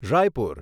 Raipur